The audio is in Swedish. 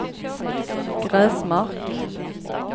Gräsmark